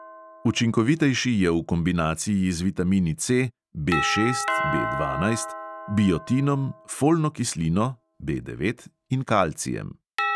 Učinkovitejši je v kombinaciji z vitamini C, B šest, B dvanajst, biotinom, folno kislino (B devet) in kalcijem.